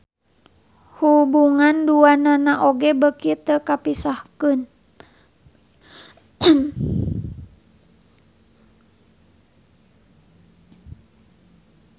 Hubungan duanana oge beuki teu kapisahkeun.